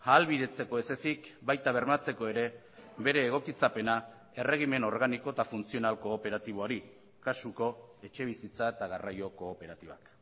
ahalbidetzeko ez ezik baita bermatzeko ere bere egokitzapena erregimen organiko eta funtzional kooperatiboari kasuko etxebizitza eta garraio kooperatibak